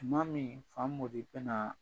Tuma miin Famori bɛnaa